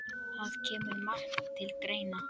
Það kemur margt til greina